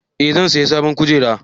Eh zan saya sabon kujeru